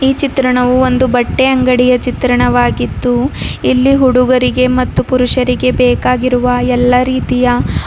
ಈ ಚಿತ್ರಣವೂ ಒಂದು ಬಟ್ಟೆ ಅಂಗಡಿಯ ಚಿತ್ರಣವಾಗಿದ್ದು ಇಲ್ಲಿ ಹುಡುಗರಿಗೆ ಮತ್ತು ಪುರುಷರಿಗೆ ಬೇಕಾಗಿರುವ ಎಲ್ಲ ರೀತಿಯ--